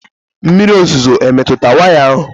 Mmiri ozuzo emetụ waya ahụ?